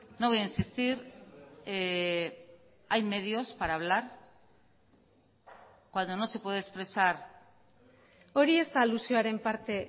no voy a insistir hay medios para hablar cuando no se puede expresar hori ez da alusioaren parte